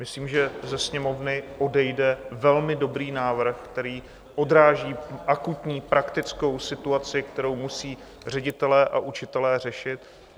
Myslím, že ze Sněmovny odejde velmi dobrý návrh, který odráží akutní praktickou situaci, kterou musí ředitelé a učitelé řešit.